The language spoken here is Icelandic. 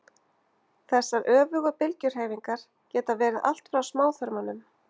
þessar öfugu bylgjuhreyfingar geta verið allt frá smáþörmunum